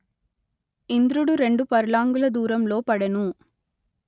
ఇంద్రుడు రెండు పర్లాంగుల దూరంలో పడెను